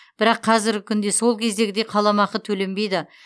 бірақ қазіргі күнде сол кездегідей қаламақы төленбейді